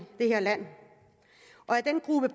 det her land